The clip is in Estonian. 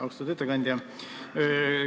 Austatud ettekandja!